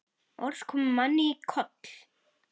Orð koma manni í koll.